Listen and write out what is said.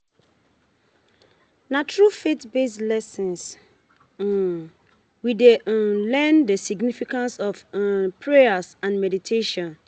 Na through faith-based lessons, um we dey um learn the significance of um prayer and meditation